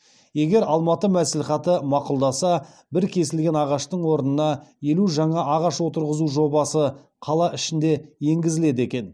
егер алматы мәслихаты мақұлдаса бір кесілген ағаштың орнына елу жаңа ағаш отырғызу жобасы қала ішінде енгізіледі екен